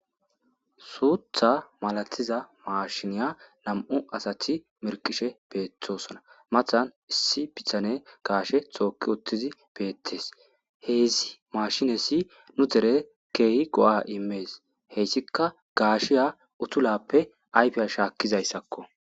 suutha malatiza maashiniya nam7u asati merqishe beetosona mathan issi pithane gaashe xooki uttizi beettees heesi maashinessi nu dere keehi go7a imees heyssika gaashiya utulappe ayfiya shaakkizayssakko